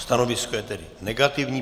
Stanovisko je tedy negativní.